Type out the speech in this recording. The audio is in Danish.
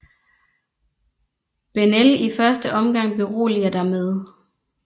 Bennell i første omgang beroliger dig med